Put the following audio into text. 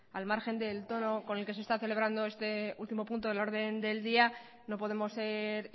al margen de todo con lo que se está celebrando este último punto del orden del día no podemos ser